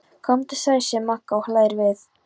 Komdu sæl, segir Magga og hlær við.